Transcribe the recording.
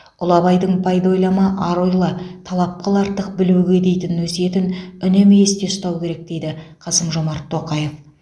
ұлы абайдың пайда ойлама ар ойла талап қыл артық білуге дейтін өсиетін үнемі есте ұстау керек дейді қасым жомарт тоқаев